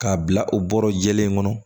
K'a bila o bɔrɔ jɛlen kɔnɔ